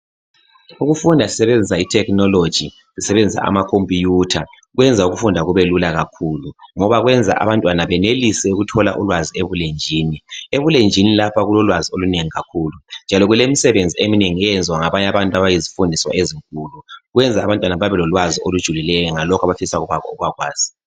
Ukufunda sisebenzisa ithekhinoloji sisebenzisa amakhompiyutha, kwenza ukufunda kubelula kakhulu ngoba kwenza abantwana benelise ukuthola ulwazi ebulenjini. Ebulenjini lapha kulolwazi olunengi kakhulu, njalo kulemisebenzi eminengi eyenziwa ngabanye abantu abayizifundiswa ezinkulu. Kwenza abantwana babelolwazi olujulileyo ngalokho abafisa ukubakwazi.